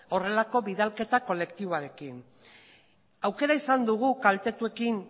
horrelako bidalketa kolektiboarekin aukera izan dugu kaltetuekin